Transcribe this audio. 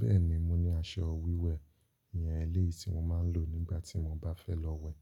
Bẹ́ẹ̀ni, mo ní aṣọ wíwẹ̀ iyẹn eléyìí tí mo máa ń lò nígbà tí mo bá fẹ́ lọ wẹ̀